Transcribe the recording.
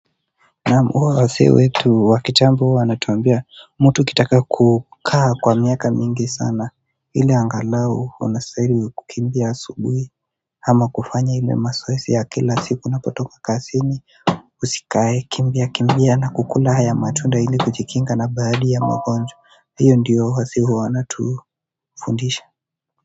Naam wale wazee wetu wa kitambo huwa wanatuambia mtu ukitaka kukaa kwa miaka mingi sana ile angalau unastahili kukimbia asubuhi. Ama kufanya ile mazoezi ya kila siku unapotoka kazini. Usikae kimbia kimbia na kukula haya matunda ile kujikinga labda hali ya magojwa hiyo ndiyo wazee wanatufundisha.